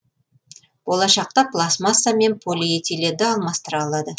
болашақта пластмасса мен полиэтиленді алмастыра алады